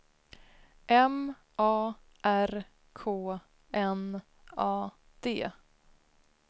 M A R K N A D